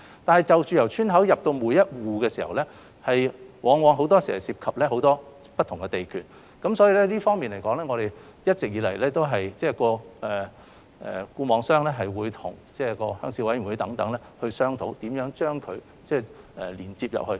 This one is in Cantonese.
但是，就着由村口至達每一戶，往往涉及很多不同的地段，在這方面，一直以來固網商會與鄉事委員會等商討，如何把光纖連接進去。